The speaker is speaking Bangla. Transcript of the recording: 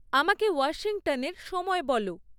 আমাকে ওয়াশিংটনের সময় বলো